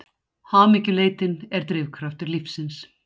Hamingjuleitin er drifkraftur lífsins.